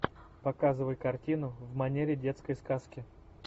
показывай картину в манере детской сказки